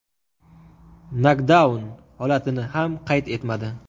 nokdaun holatini ham qayd etmadi.